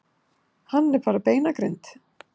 Hann er bara beinagrind.